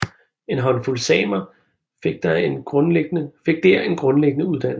En håndfuld samer fik der en grundlæggende uddannelse